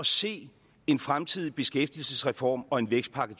se en fremtidig beskæftigelsesreform og en vækstpakke